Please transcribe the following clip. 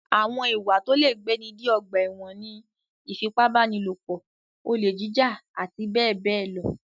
Àwọn ìwá tó lè gbé ni dé ọgbà ẹ̀wọ̀n ní: ìfipábánilòpọ̀, olè jíjà àti bẹ́ẹ̀ bẹ́ẹ̀ lọ.